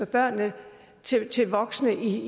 børnene til voksne i